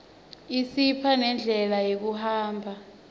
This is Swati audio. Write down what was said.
isipha nendlela yekuhamba